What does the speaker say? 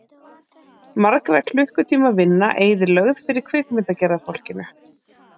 Margra klukkutíma vinna eyðilögð fyrir kvikmyndagerðarfólkinu.